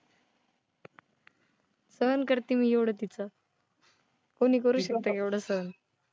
सहन करते मी एवढं तिचं. कोणी करू शकतं का एवढं सहन?